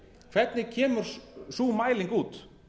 hvernig kemur sú mæling út